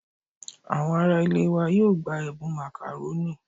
Àwọn ará ilé wa yóò gba ẹ̀bùn Macaroni